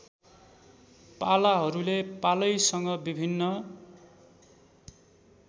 पालाहरूले पालैसँग विभिन्न